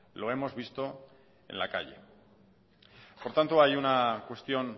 lo hemos visto en la calle por tanto hay una cuestión